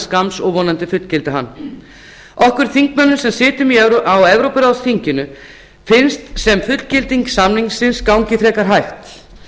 skamms og vonandi fullgilda hann okkur þingmönnum sem sitjum á evrópuráðsþinginu finnst sem fullgilding samningsins gangi frekar hægt